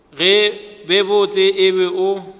be botse o be o